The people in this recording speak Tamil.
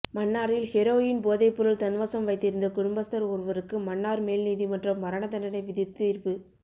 மன்னாரில் ஹெரோயின் போதைப்பொருள் தன்வசம் வைத்திருந்த குடும்பஸ்தர் ஒருவருக்கு மன்னார் மேல் நீதிமன்றம் மரண தண்டனை விதித்து தீர்ப்பு